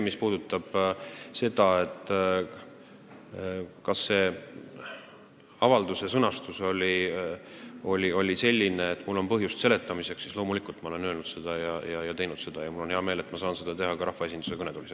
Mis puudutab seda, kas selle avalduse sõnastus oli selline, et mul on põhjust selgitamiseks, siis loomulikult, ma olen seda teinud ning mul on hea meel, et ma saan seda teha ka rahvaesinduse kõnetoolis.